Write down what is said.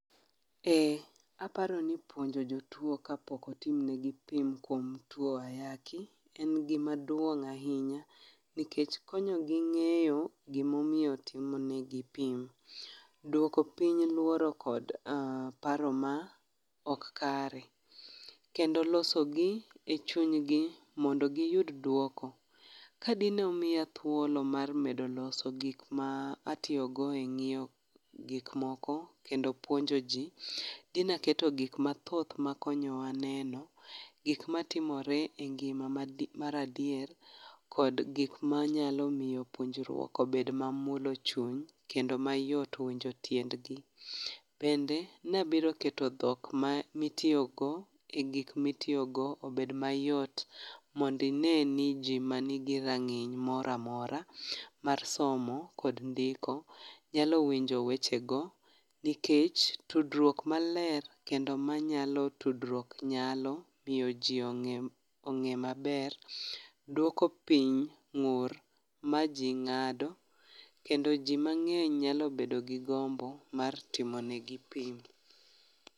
Aparo ni puonjo jotuwo kapok otim negi pim kuom tuwo ayaki en gima duong' ahinya nikech konyogi ng'eyo gimomiyo itimo negi pim. Dwoko piny luoro kod paro ma ok kare. Kendo losogi e chunygi mondo giyud dwoko. Ka dine omiya thuolo mar medo loso gik ma atiyogo e ng'iyo gikmoko kendo puonjoji, dina keto gik mathoth makonyowa neno, gik matimore e ngima mar adier, kod gik manyalo miyo puonjruok obed mamulo chuny, kendo mayot winjo tiendgi. Bende nabiro keto dhok ma itiyogo e gik mitiyogo obed mayot mondo ine ni ji manigi rang'iny mora mora mar somo kod ndiko nyalo winjo wechego nikech tudruok maler kendo manyalo tudruok nyalo miyo ji ong'e maber, dwoko piny ng'ur ma ji ng'ado, kendo ji mang'eny nyalo bedo gi gombo mar timo negi pim.